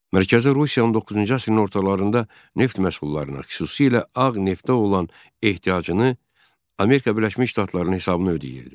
Mərkəzi Rusiya 19-cu əsrin ortalarında neft məhsullarına, xüsusilə ağ neftə olan ehtiyacını Amerika Birləşmiş Ştatlarının hesabına ödəyirdi.